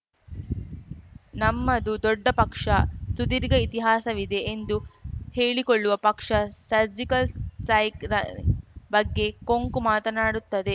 ನಮ್ಮದು ದೊಡ್ಡ ಪಕ್ಷ ಸುದೀರ್ಘ ಇತಿಹಾಸವಿದೆ ಎಂದು ಹೇಳಿಕೊಳ್ಳುವ ಪಕ್ಷ ಸರ್ಜಿಕಲ್‌ ಸೈಕ್‌ ರ ಬಗ್ಗೆ ಕೊಂಕು ಮಾತನಾಡುತ್ತದೆ